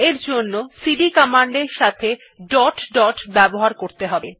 এর জন্য CD command এর সাথে ডট ডট ব্যবহার করতে হবে